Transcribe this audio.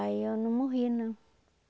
Aí eu não morri, não.